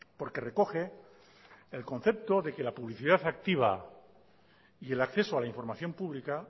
porque recoge el concepto de que la publicidad activa y el acceso a la información pública